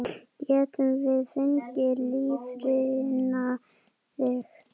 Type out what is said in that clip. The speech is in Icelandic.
Getum við fengið lifrina þína?